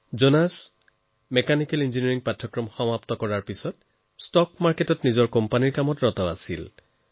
জোনাছে mechanical ইঞ্জিনিয়াৰিঙৰ পঢ়াশুনা কৰাৰ পাছত ষ্টক মাৰ্কেটৰ এটা কোম্পানীত কাম কৰে